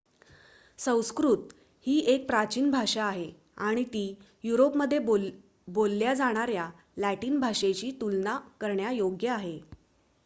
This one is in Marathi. संस्कृत ही एक प्राचीन भाषा आहे आणि ती युरोपमध्ये बोलल्या जाणार्‍या लॅटिन भाषेशी तुलना करण्यायोग्य आहे